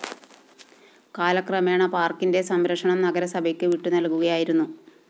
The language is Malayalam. കാലക്രമേണ പാര്‍ക്കിന്റെ സംരക്ഷണം നഗരസഭയ്ക്ക് വിട്ടുനല്‍കുകയായിരുന്നു